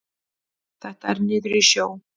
Þetta er niður í sjó.